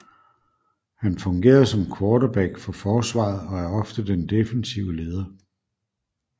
Han fungerer som quarterback for forsvaret og er ofte den defensive leder